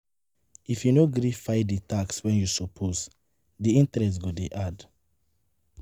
If you no gree file di tax when you suppose, di interest go dey add